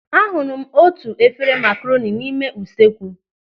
A hụrụ m otu efere makaroni n'ime usuekwu.